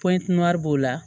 Pɔɲatimɛri b'o la